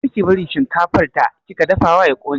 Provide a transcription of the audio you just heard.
Kar ki bari shinkafar da kika dafawa ya ƙone!